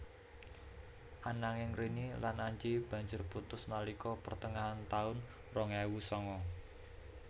Ananging Rini lan Anji banjur putus nalika pertengahan taun rong ewu sanga